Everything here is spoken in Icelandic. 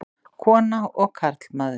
Kona og karlmaður.